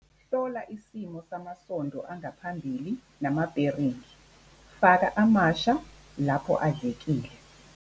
Hlola isimo samasondo angaphambili namabheringi, faka amasha lapho adlekile.